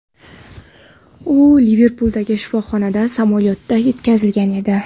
U Liverpuldagi shifoxonaga samolyotda yetkazilgan edi.